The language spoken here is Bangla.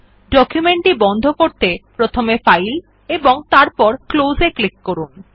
ডকুমেন্ট টি বন্ধ করতে প্রথমে ফাইল এবং তারপর Close এ ক্লিক করুন